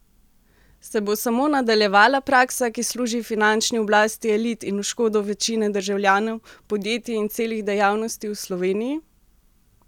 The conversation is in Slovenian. Se bo samo nadaljevala praksa, ki služi finančni oblasti elit in v škodo večine državljanov, podjetij in celih dejavnosti v Sloveniji?